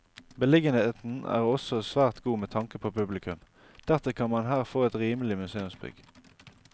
Beliggenheten er også svært god med tanke på publikum, dertil kan man her få et rimelig museumsbygg.